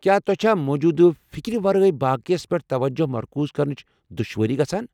کیا تۄہہ چھا موجودٕ فکرِ ورٲے باقیس پیٹھ توجہ مرکوز کرنٕچ دشوٲری گژھان؟